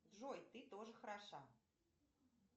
джой ты тоже хороша